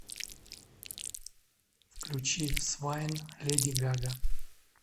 включи свайн леди гага